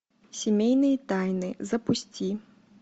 семейные тайны запусти